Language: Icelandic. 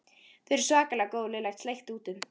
Þau eru svakalega góð Lilla sleikti út um.